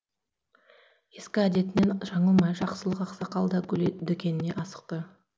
ескі әдетінен жаңылмай жақсылық ақсақал да гүл дүкеніне асықты